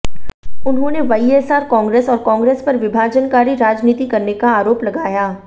उन्होंने वाईएसआर कांग्रेस और कांग्रेस पर विभाजनकारी राजनीति करने का आरोप लगाया